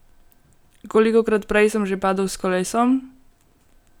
Kolikokrat prej sem že padel s kolesom?